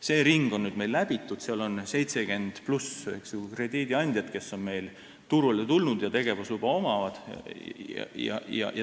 See ring on meil nüüdseks läbitud, turul on üle 70 krediidiandja, kellel on tegevusluba.